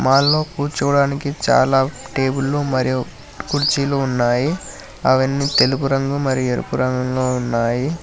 మాల్లో కూర్చోడానికి చాలా టేబులు మరియు కుర్చీలు ఉన్నాయి అవన్నీ తెలుపు రంగు మరి ఎరుపు రంగులో ఉన్నాయి.